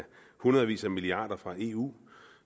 hundredvis af milliarder fra eu